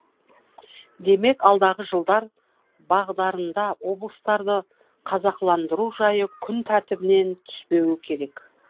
демек алдағы жылдар бағдарында облыстарды қазақыландыру жайы күн тәртібінен түспеуі керек